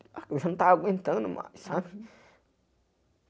Eu já não tava aguentando mais, sabe? Uhum